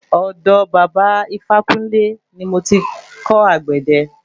Ọ̀dọ̀ baba Ifákúnle ní mo ti kò àgbẹ̀dẹ.